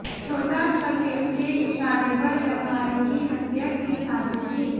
छोटा शकील के इशारे पर व्यापारी की हत्या की साजिश थी